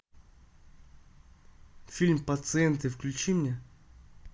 фильм пациенты включи мне